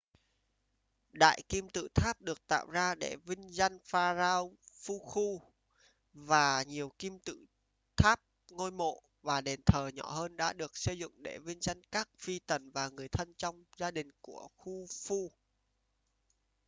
đại kim tự tháp được tạo ra để vinh danh pharaoh khufu và nhiều kim tự tháp ngôi mộ và đền thờ nhỏ hơn đã được xây dựng để vinh danh các phi tần và người thân trong gia đình của khufu